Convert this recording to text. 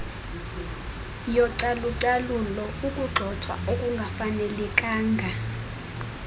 yocalucalulo ukugxothwa okungafanelekanga